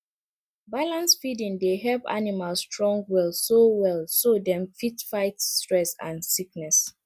balanced feeding dey help animal strong well so well so dem fit fight stress and sickness